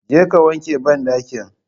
Je ka wanke banɗakin